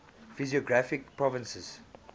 physiographic provinces